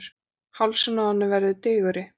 Hálsinn á henni verður digurri.